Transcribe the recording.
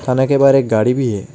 के बाहर एक गाड़ी भी है।